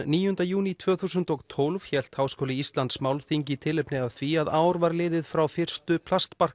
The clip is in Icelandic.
níunda júní tvö þúsund og tólf hélt Háskóli Íslands málþing í tilefni af því að ár var liðið frá fyrstu